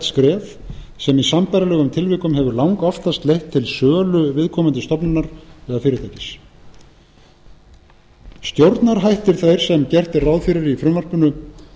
skref sem í sambærilegum tilvikum hefur langoftast leitt til sölu viðkomandi stofnunar eða fyrirtækis stjórnarhættir þeir sem gert er ráð fyrir í frumvarpinu